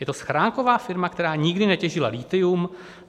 Je to schránková firma, která nikdy netěžila lithium.